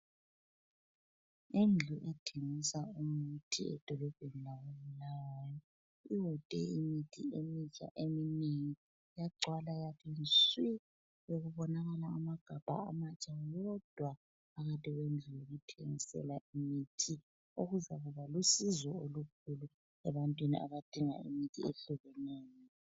Indlu ethengisa imithi edolobheni lako Bulawayo, iwode imithi emitsha eminengi yagcwala yathi nswii. Bekubonakala amagamba amatsha wodwa phakathi kwendlu yokuthengisela imithi. Okuzaba lusizo olukhulu ebantwini abadinga imithi ezehlukeneyo.